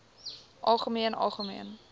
algemeen algemeen